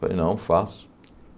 Falei, não, faço.